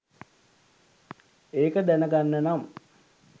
ඒක දැනගන්න නම්